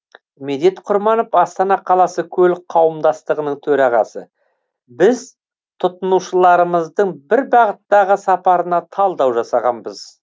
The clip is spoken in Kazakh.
медет құрманов астана қаласы көлік қауымдастығының төрағасы біз тұтынушыларымыздың бір бағыттағы сапарына талдау жасағанбыз